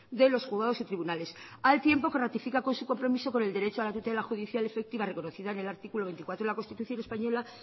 de los juzgados y tribunales al tiempo que ratifica con su compromiso con el derecho a la tutela judicial efectiva reconocida en el artículo veinticuatro de la constitución española